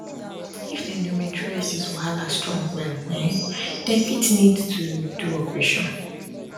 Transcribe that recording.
if endometriosis wahala strong well um dem fit need to do operation